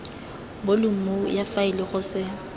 bolumo ya faele go se